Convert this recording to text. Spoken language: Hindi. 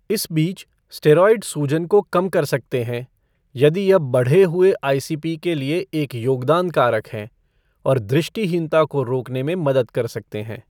इस बीच, स्टेरॉयड सूजन को कम कर सकते हैं यदि यह बढ़े हुए आई सी पी. के लिए एक योगदान कारक है , और दृष्टिहीनता को रोकने में मदद कर सकते हैं।